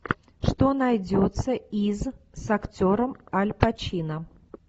что найдется из с актером аль пачино